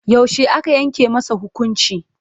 Yaushe aka yanke masa hukunci?